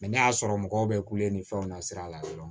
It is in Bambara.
ne y'a sɔrɔ mɔgɔw bɛ kule ni fɛnw na sira la dɔrɔn